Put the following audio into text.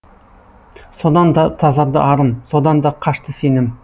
содан да тазарды арым содан да қашты сенім